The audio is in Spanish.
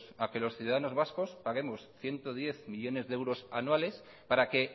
a que los ciudadanos vascos paguemos ciento diez millónes de euros anuales para que